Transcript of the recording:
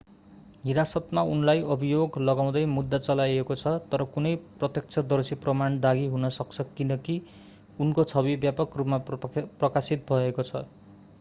हिरासतमा उनलाई अभियोग लगाउँदै मुद्दा चलाइएको छ तर कुनै प्रत्यक्षदर्शी प्रमाण दागी हुन सक्छ किनकि उनको छवि व्यापक रूपमा प्रकाशित भएको छ